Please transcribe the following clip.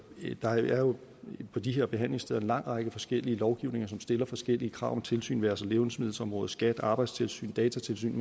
der er jo på de her behandlingssteder en lang række forskellige lovgivninger som stiller forskellige krav om tilsyn det være sig levnedsmiddelområdet skat arbejdstilsyn datatilsyn